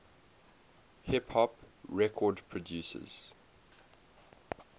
hip hop record producers